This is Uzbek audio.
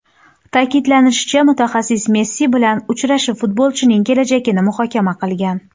Ta’kidlanishicha, mutaxassis Messi bilan uchrashib, futbolchining kelajagini muhokama qilgan.